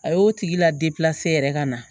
A y'o tigi la yɛrɛ ka na